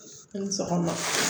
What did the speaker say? I ni sɔgɔma